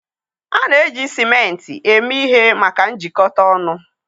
A na-eji ciment eme ihe maka njikọta ọnụ